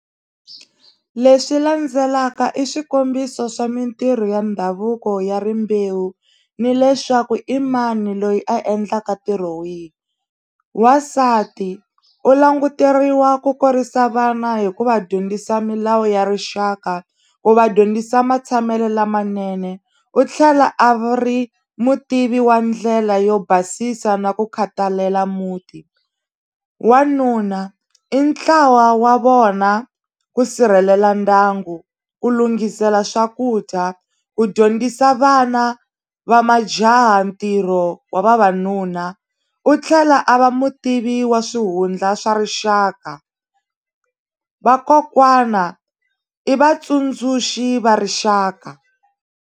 Leswi landzelaka i swikombiso swa mintirho ya ndhavuko ya rimbewu ni leswaku i mani loyi a endlaka ntirho wihi wansati u languteriwa ku kurisa vana hi ku va dyondzisa milawu ya rixaka ku va dyondzisa matshamelo lamanene u tlhela a ri mutivi wa ndlela yo basisa na ku khathalela muti wanuna i ntlawa wa vona ku sirhelela ndyangu ku lunghisela swakudya ku dyondzisa vana va majaha ntirho wa vavanuna u tlhela a va mutivi wa swihundla swa rixaka vakokwana i vatsundzuxi va rixaka.